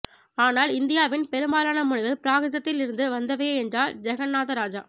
ஆனால் இந்தியாவின் பெரும்பாலான மொழிகள் பிராகிருதத்தில் இருந்து வந்தவையே என்றார் ஜெகன்னாதராஜா